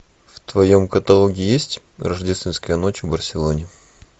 в твоем каталоге есть рождественская ночь в барселоне